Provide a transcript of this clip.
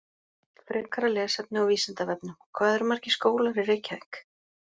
Frekara lesefni á Vísindavefnum: Hvað eru margir skólar í Reykjavík?